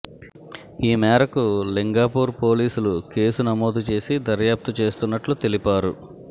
ఈ మేరకు లింగాపూర్ పోలీసులు కేసు నమోదు చేసి దర్యాప్తు చేస్తున్నట్లు తెలిపారు